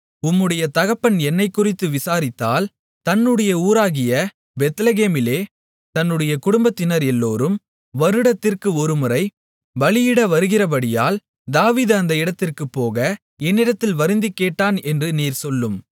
உம்முடைய தகப்பன் என்னைக்குறித்து விசாரித்தால் தன்னுடைய ஊராகிய பெத்லெகேமிலே தன்னுடைய குடும்பத்தினர் எல்லோரும் வருடத்திற்கு ஒருமுறை பலியிட வருகிறபடியால் தாவீது அந்த இடத்திற்குப் போக என்னிடத்தில் வருந்திக் கேட்டான் என்று நீர் சொல்லும்